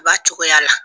Ba cogoya la